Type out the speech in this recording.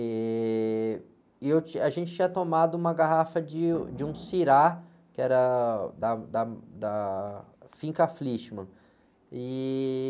E a gente tinha tomado uma garrafa de, de um sirah, que era da, da, da Finca Flichman. E...